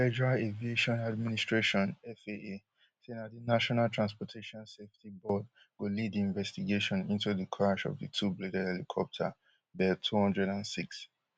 di federal aviation administration faa say na di national transportation safety board go lead di investigation into di crash of di twobladed helicopter bell two hundred and six